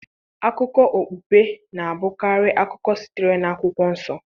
Akụkọ okpukpe na-abụkarị akụkọ sitere na Akwụkwọ Nsọ